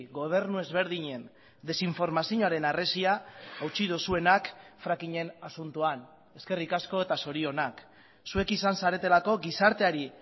gobernu ezberdinen desinformazioaren harresia hautsi duzuenak frackingen asuntoan eskerrik asko eta zorionak zuek izan zaretelako gizarteari